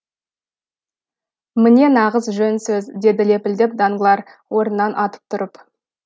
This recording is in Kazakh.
міне нағыз жөн сөз деді лепілдеп данглар орнынан атып тұрып